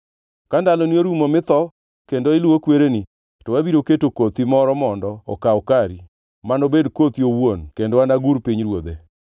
Ka ndaloni orumo mitho kendo iluwo kwereni to abiro keto kothi moro mondo okaw kari, manobed kothi owuon kendo anagur pinyruodhe.